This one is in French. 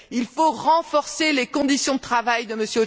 Il faut renforcer les conditions de travail de M.